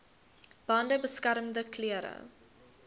bande beskermende klere